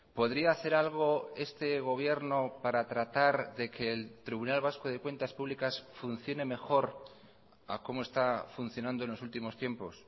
podría hacer algo este gobierno para tratar de que el tribunal vasco de cuentas públicas funcione mejor a como está funcionando en los últimos tiempos